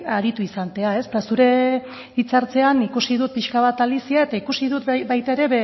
aritu izatea eta zure hitzartzean ikusi dut pixka bat alicia eta ikusi dut